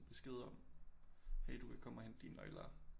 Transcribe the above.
Besked om hey du kan komme og hente dine nøgler